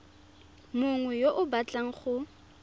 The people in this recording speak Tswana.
mongwe yo o batlang go